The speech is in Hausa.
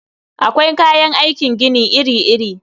Akwai kayan aikin gini iri-iri.